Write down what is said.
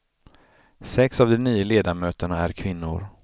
Sex av de nio ledamöterna är kvinnor.